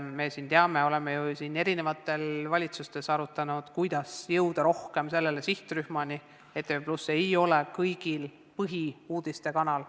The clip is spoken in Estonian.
Me oleme eri aegadel ka valitsuses arutanud, kuidas jõuda rohkem teatud sihtrühmani, sest ETV+ ei ole kõigi põhiline uudistekanal.